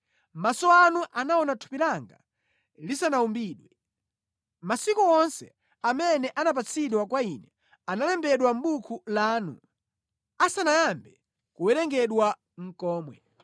Maso anu anaona thupi langa lisanawumbidwe. Masiku onse amene anapatsidwa kwa ine, analembedwa mʼbuku lanu asanayambe nʼkuwerengedwa komwe.